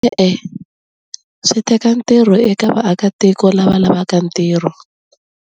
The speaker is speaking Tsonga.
E-e swi teka ntirho eka vaakatiko lava lavaka ntirho.